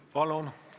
Palun!